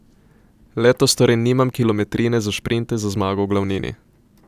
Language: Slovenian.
Letos torej nimam kilometrine za šprinte za zmago v glavnini.